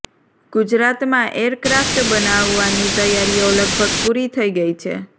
ગુજરાતમાં એરક્રાફ્ટ બનાવવાની તૈયારીઓ લગભગ પુરી થઇ ગઇ છે